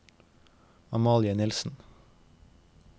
Amalie Nielsen